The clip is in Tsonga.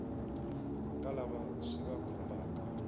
ka lava swi va khumbhaka